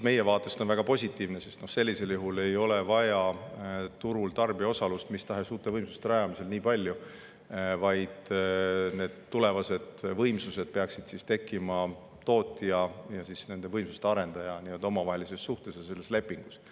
Meie vaatest on see väga positiivne, sest sellisel juhul ei ole vaja turul nii palju tarbija osalust mis tahes uute võimsuste rajamisel, vaid need tulevased võimsused peaksid tekkima tootja ja võimsuste arendaja omavahelise suhte ja lepingu kaudu.